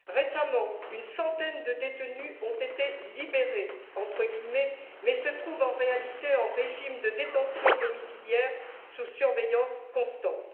Récemment, une centaine de détenus ont été libérés, entre guillemets, mais se trouvent en réalité en régime de détention domiciliaire, sous surveillance constante.